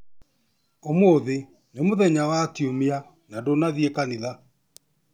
Ũmũthĩ nĩ mũthenya wa kiumia na ndũnathiĩ kanitha.